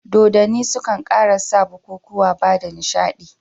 Dodonni sukan ƙara san bikukuwa bada nishiɗi.